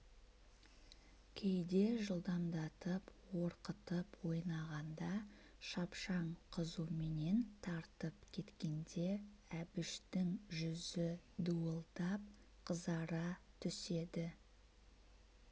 кейде жылдамдатып орқытып ойнағанда шапшаң қызуменен тартып кеткенде әбіштің жүзі дуылдап қызара түседі